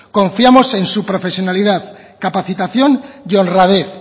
confiamos en su profesionalidad capacitación y honradez